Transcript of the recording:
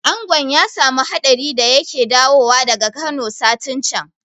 Angon ya samu hadari da yake dawowa daga Kano satin can